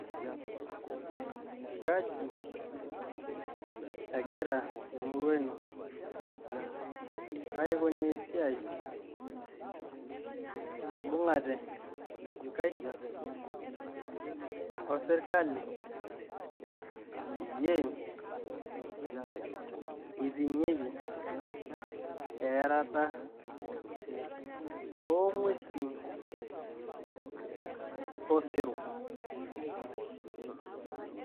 Kaji egira emurua ino aikunaa esiai ,imbung'ate inkaik osirkali peyie iting'ieki earata oong'uesin osero?